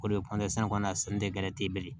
O de ye kɔni a sɛni tɛ gɛrɛ ten